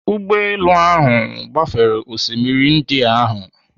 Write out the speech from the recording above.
Ụgbọelu ahụ gbafere osimiri Indian ahụ.